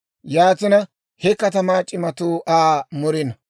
Yaatina he katamaa c'imatuu Aa murino.